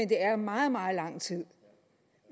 det er jo meget meget lang tid